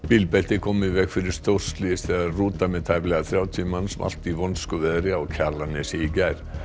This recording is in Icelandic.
bílbelti komu í veg fyrir stórslys þegar rúta með tæplega þrjátíu manns valt í vonskuveðri á Kjalarnesi í gær